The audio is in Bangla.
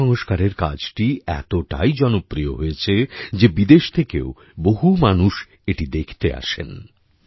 এই সংস্কারের কাজটি এতটাই জনপ্রিয় হয়েছে যে বিদেশ থেকেও বহু মানুষ এটা দেখতে আসেন